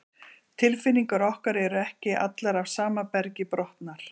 tilfinningar okkar eru ekki allar af sama bergi brotnar